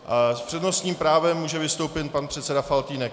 S přednostním právem může vystoupit pan předseda Faltýnek.